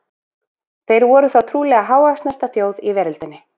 þeir voru þá trúlega hávaxnasta þjóð í veröldinni